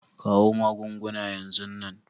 Kawo magunguna yanzu nan!